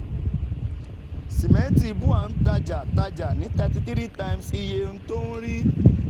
Sìmẹ́ntì BUA n tajà tajà ní thirty three times iye tó ń rí.